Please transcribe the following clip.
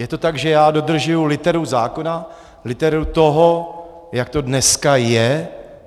Je to tak, že já dodržuji literu zákona, literu toho, jak to dneska je.